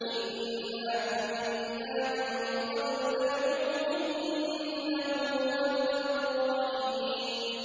إِنَّا كُنَّا مِن قَبْلُ نَدْعُوهُ ۖ إِنَّهُ هُوَ الْبَرُّ الرَّحِيمُ